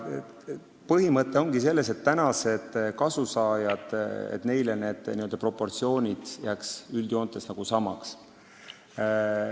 Põhimõte on selles, et praeguste kasusaajate jaoks jääks proportsioonid üldjoontes samaks.